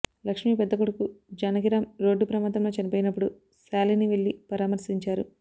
లక్ష్మి పెద్ద కొడుకు జానకిరాం రోడ్డు ప్రమాదంలో చనిపోయినప్పుడు శాలిని వెళ్లి పరామర్శించారు